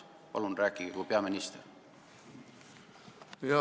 Palun rääkige kui peaminister!